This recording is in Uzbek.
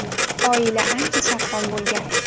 Oila ancha sarson bo‘lgan.